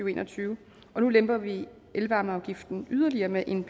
og en og tyve og nu lemper vi elvarmeafgiften yderligere med en